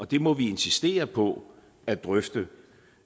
det må vi insistere på at drøfte